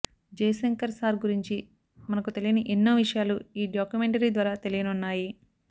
జయ Shankar sir గురించి మనకు తెలియని ఎన్నో విషయాలు ఈ డాక్యుమెంటరీ ద్వారా తెలియనున్నాయి